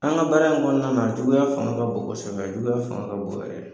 An ka baara in kɔnɔna juguya fanga ka bon kɔsɛbɛ juguya fanga ka bon yɛrɛ de.